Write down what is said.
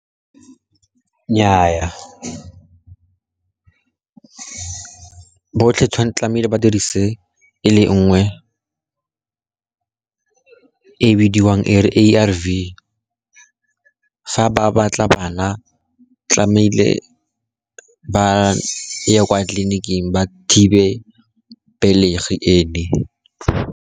Nnyaa, botlhe tlamehile ba dirise e le nngwe, e e bidiwang A_R_V, ga ba batla bana tlamehile ba ye kwa tleliniking ba thibe pelegi ene.